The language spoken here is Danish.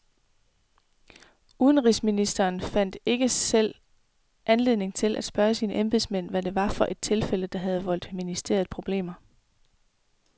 Udenrigsministeren fandt ikke selv anledning til at spørge sine embedsmænd, hvad det var for et tilfælde, der havde voldt ministeriet problemer.